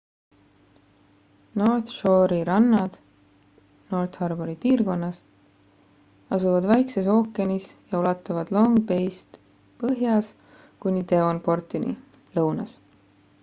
north shore'i rannad north harbouri piirkonnas asuvad vaikses ookeanis ja ulatuvad long bay'st põhjas kuni denvonportini lõunas